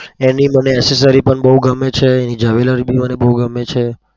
એની મને accessory પણ બઉ ગમે છે jewellery બી મને બઉ ગમે છે.